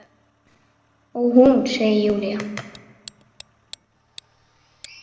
Ó, hún, segir Júlía.